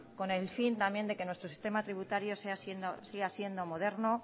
con el fin también de que nuestro sistema tributario siga siendo moderno